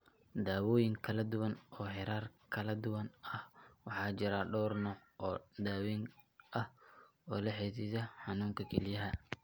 Daawooyin kala duwan oo heerar kala duwan ah Waxaa jira dhawr nooc oo daaweyn ah oo la xidhiidha xanuunka kelyaha.